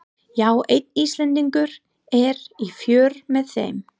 Já, einn Íslendingur er í för með þeim.